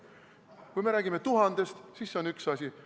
Kui me räägime 1000-st, siis see on üks asi.